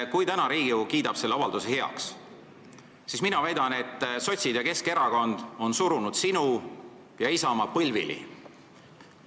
Kui täna Riigikogu kiidab selle avalduse heaks, siis mina väidan, et sotsid ja Keskerakond on surunud sinu ja Isamaa põlvili.